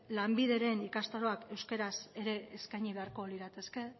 lanbideren ikastaroak euskeraz ere eskaini beharko lirateke